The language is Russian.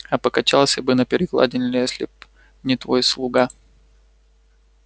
а покачался бы на перекладине если б не твой слуга